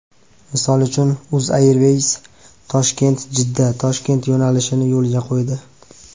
Misol uchun, UzAirways ToshkentJiddaToshkent yo‘nalishini yo‘lga qo‘ydi.